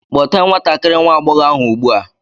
Kpọte ​​nwatakịrị nwa agbọghọ ahụ ugbu a!